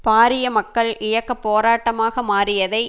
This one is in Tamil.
பாரிய மக்கள் இயக்க போராட்டமாக மாறியதை